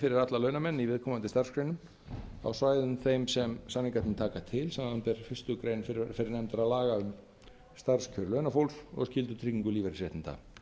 fyrir alla launamenn í viðkomandi starfsgreinum á svæðum þeim sem samningarnir taka til samanber fyrstu grein fyrrnefndra laga um starfskjör launafólks og skyldutryggingu lífeyrisréttinda